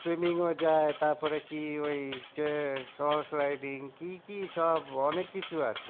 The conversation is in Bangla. ও যায় তারপরে কি ওই কে কি কি সব অনেক কিছু আছে